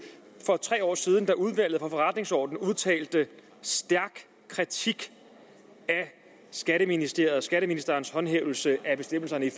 for tre år siden da udvalget for forretningsordenen udtalte stærk kritik af skatteministeriet og skatteministerens håndhævelse af bestemmelserne i